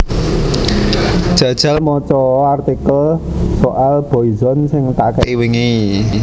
Jajal moco o artikel soal Boyzone sing tak ke'i wingi